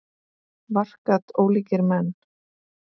Vart gat ólíkari menn.